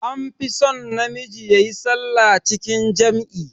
An fi son na miji yayi sallah cikin jam'i